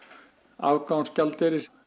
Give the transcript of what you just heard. afgangsgjaldeyri